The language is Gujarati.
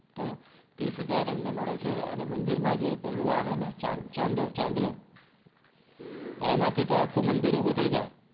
તો ત્રીશ હજાર અમને મળે છે અને મંદિર માં જે પેલું આવે ને ચદો ચાંદલો હમ એમાંથી તો આખું મંદિર ઉભુંથય જાય